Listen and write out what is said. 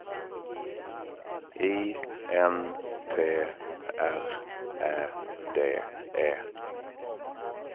I N T R Ä D E